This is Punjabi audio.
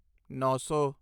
ਨੌਂ ਸੌ